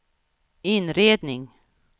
inredning